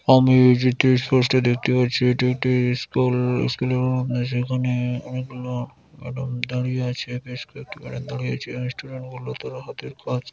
আমি এই চিত্রে স্পষ্ট দেখতে পাচ্ছি এটি একটি-ই স্কুল-ল স্কুল -এর মধ্যে সেখানে-এ অনেকগুলো ম্যাডাম দাঁড়িয়ে আছে বেশ কয়েকটি ম্যাডাম দাঁড়িয়ে রয়েছে আর স্টুডেন্ট গুলো তারা হাতের কাজ--